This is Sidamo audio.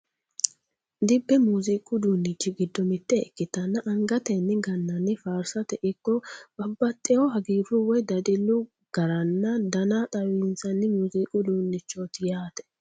Dibbe muuziiqu uduuchi giddo mitte ikkitanna angatenni gannanni faarsirate ikko babbaxxeewo hagiirru woy dadillu garanna dana xawissanni muuziiqu uduunnichooti yaate.